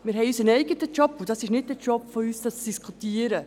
Wir haben unseren eigenen Job, und darüber zu diskutieren, ist nicht unser Job.